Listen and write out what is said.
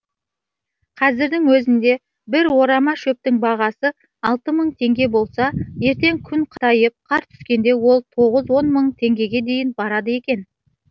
қазірдің өзінде бір орама шөптің бағасы алты мың теңге болса ертең күн қатайып қар түскенде ол тоғыз он мың теңгеге дейін барады екен